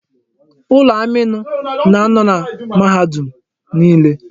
Ulọ amiinụ na-anọ na mahadum niile.